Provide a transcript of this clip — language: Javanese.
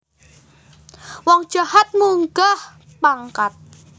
Wong jahat munggah pangkat